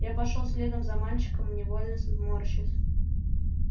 я пошёл следом за мальчиком невольно морщась